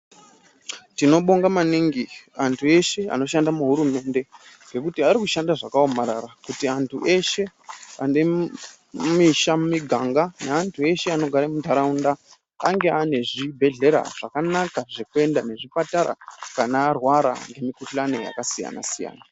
Tinobonga maningi antu eshe anoshanda muhurumende ngekuti arikushanda zvakaomarara kuti antu eshe ane misha mumiganga alneantu eshe anogare muntaraunda ange ane zvibhedhleya zvakanaka zvekuenda nezvipatara kana arwara ngemikuhlani yakasiyana siyana.